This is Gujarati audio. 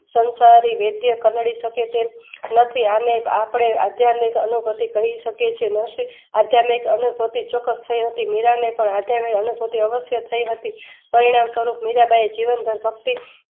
સંસારી વૈદ્ય કંડદી શકે તેમ નથી અને આપડે આધ્યામિક અનુભૂતિ કરીશકીએ છીએ. નરશી આધ્યામિક અનુભૂતિ ચોક્સ થય હતી મીરાંને પણ આધ્યામિક અનુભૂતિ અવશ્ય થઇ હતી કલ્યાણ સ્વરૂપ મીરાંબાઈએ જીવન પણ ભક્તિ